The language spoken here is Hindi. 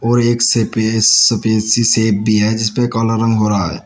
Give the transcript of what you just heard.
और एक सफे सफेद सी शेप भी है जिस पे काला रंग हो रहा है।